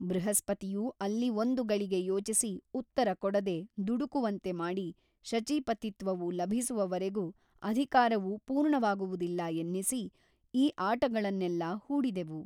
ಬೃಹಸ್ಪತಿಯು ಅಲ್ಲಿ ಒಂದು ಗಳಿಗೆ ಯೋಚಿಸಿ ಉತ್ತರ ಕೊಡದೆ ದುಡುಕುವಂತೆ ಮಾಡಿ ಶಚೀಪತಿತ್ವವು ಲಭಿಸುವವರೆಗೂ ಅಧಿಕಾರವು ಪೂರ್ಣವಾಗುವುದಿಲ್ಲ ಎನ್ನಿಸಿ ಈ ಆಟಗಳನ್ನೆಲ್ಲ ಹೂಡಿದೆವು.